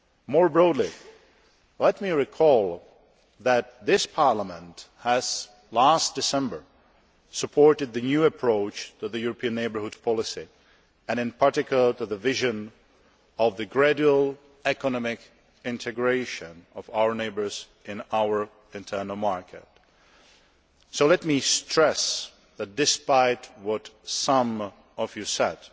More broadly, let me recall that this Parliament last December supported the new approach for the European Neighbourhood Policy and in particular the vision of the gradual economic integration of our neighbours into our internal market. So let me stress that, despite what some of you said,